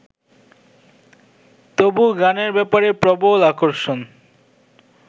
তবু গানের ব্যাপারে প্রবল আকর্ষণ